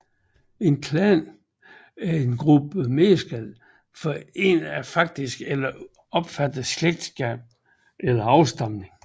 En klan er en gruppe mennesker forenet af faktisk eller opfattet slægtskab og afstamning